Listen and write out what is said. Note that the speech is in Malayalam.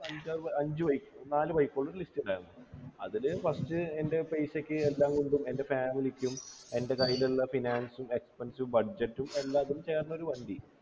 അഞ്ച അഞ്ചു bike നാലു bike കളുടെ list ഉണ്ടാരുന്നു അതില് first എൻ്റെ പൈസക്ക് എല്ലാം കൊണ്ടും എൻ്റെ family ക്കും എൻ്റെ കയ്യിലുള്ള finance expense budget ഉം എല്ലാത്തിനും ചേർന്നൊരു വണ്ടി